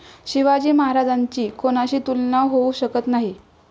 शिवाजी महाराजांची कोणाशी तुलना होऊ शकत नाही.